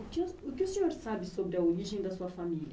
O que, o que o senhor sabe sobre a origem da sua família?